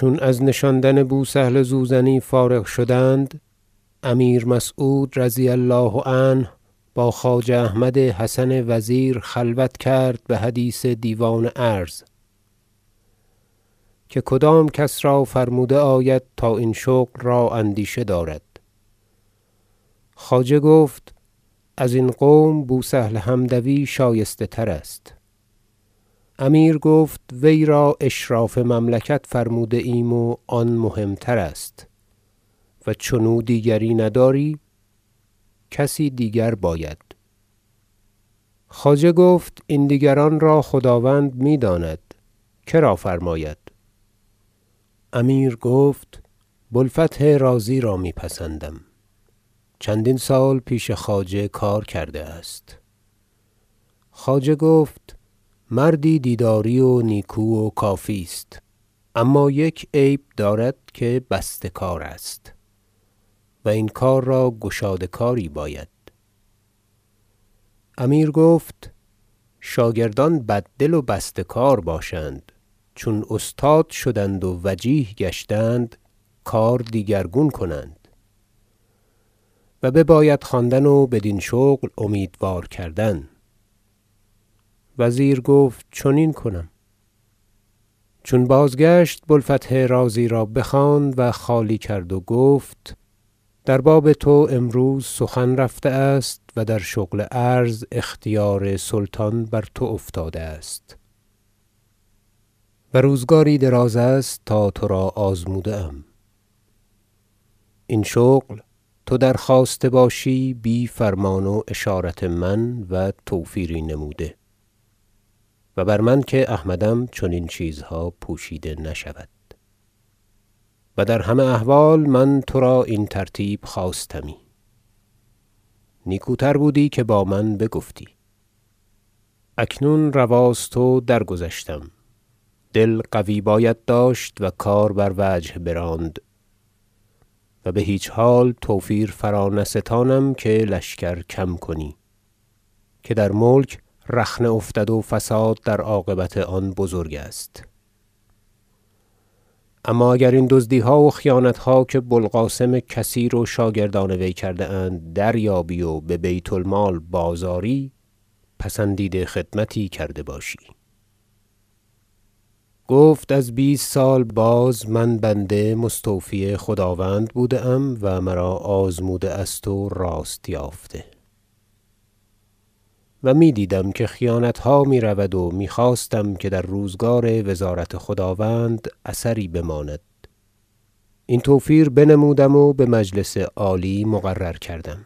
چون از نشاندن بوسهل زوزنی فارغ شدند امیر مسعود رضی الله عنه با خواجه احمد حسن وزیر خلوت کرد به حدیث دیوان عرض که کدام کس را فرموده آید تا این شغل را اندیشه دارد خواجه گفت ازین قوم بوسهل حمدوی شایسته تر است امیر گفت وی را اشراف مملکت فرموده ایم و آن مهمترست و چنو دیگری نداری کسی دیگر باید خواجه گفت این دیگران را خداوند می داند که را فرماید امیر گفت بوالفتح رازی را می پسندم چندین سال پیش خواجه کار کرده است خواجه گفت مردی دیداری و نیکو و کافی است اما یک عیب دارد که بسته کار است و این کار را گشاده کاری باید امیر گفت شاگردان بددل و بسته کار باشند چون استاد شدند و وجیه گشتند کار دیگرگون کنند و بباید خواندن و بدین شغل امیدوار کردن وزیر گفت چنین کنم چون بازگشت بوالفتح رازی را بخواند و خالی کرد و گفت در باب تو امروز سخن رفته است و در شغل عرض اختیار سلطان بر تو افتاده است و روزگاری دراز است تا ترا آزموده ام این شغل تو در خواسته باشی بی فرمان و اشارت من و توفیری نموده و بر من که احمدم چنین چیزها پوشیده نشود و در همه احوال من ترا این ترتیب خواستمی نیکوتر بودی که با من بگفتی اکنون رواست و درگذشتم دل قوی باید داشت و کار بر وجه براند و به هیچ حال توفیر فرانستانم که لشکر کم کنی که در ملک رخنه افتد و فساد در عاقبت آن بزرگ است اما اگر این دزدی ها و خیانت ها که بوالقاسم کثیر و شاگردان وی کرده اند دریابی و به بیت المال بازآری پسندیده خدمتی کرده باشی گفت از بیست سال باز من بنده مستوفی خداوند بوده ام و مرا آزموده است و راست یافته و می دیدم که خیانت ها می رود و می خواستم که در روزگار وزارت خداوند اثری بماند این توفیر بنمودم و به مجلس عالی مقرر کردم